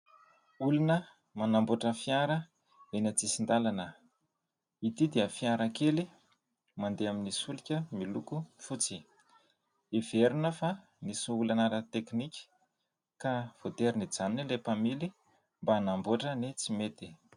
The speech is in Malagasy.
Olona manamboatra fiara eny an-tsisin-dalana. Ity dia fiara kely mandeha amin' ny solika miloko fotsy. Heverina fa nisy olana ara-teknika ka voatery nijanona ilay mpamily mba hanamboatra ny tsy mety.